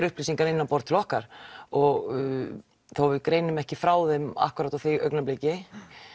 upplýsingar inn á borð til okkar og þó við greinum ekki frá þeim akkúrat á því augnabliki